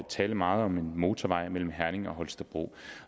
tale meget om en motorvej mellem herning og holstebro